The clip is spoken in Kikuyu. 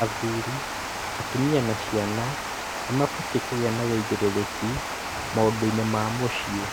Athũri, atumia na ciana nĩmabatie kũgia na wũigĩrĩrĩki maũndũinĩ ma mũciĩ